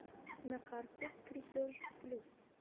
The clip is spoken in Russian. на карте крепеж плюс